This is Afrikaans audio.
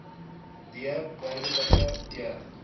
d burgerlike e